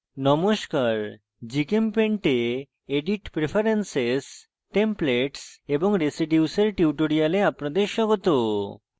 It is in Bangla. নমস্কার gchempaint এ edit preferences templates এবং residues এর tutorial আপনাদের স্বাগত